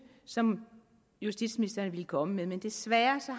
som justitsministeren ville komme med men desværre